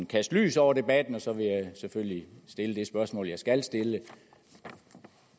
kaste lys over debatten og så vil jeg selvfølgelig stille det spørgsmål jeg skal stille